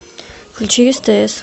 включи стс